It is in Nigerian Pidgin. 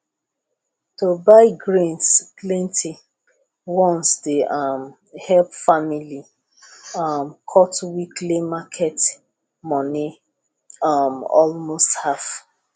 to buy grains plenty once dey um help family um cut weekly market money um almost half